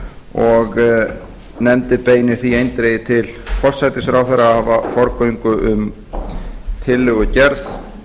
og nefndin beinir því eindregið til forsætisráðherra að hafa forgöngu um tillögugerð